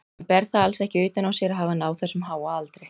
Hann ber það alls ekki utan á sér að hafa náð þessum háa aldri.